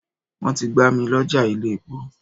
Wọ́n ti gbá mil'ọ́ja ilé-epo